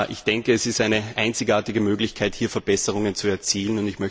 Ich denke, es ist eine einzigartige Möglichkeit, hier Verbesserungen zu erzielen.